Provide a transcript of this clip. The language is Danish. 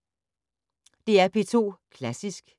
DR P2 Klassisk